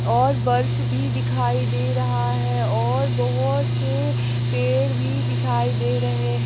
और बर्फ भी दिखाई दे रहा है और बहोत से पेड़ भी दिखाई दे रहे है।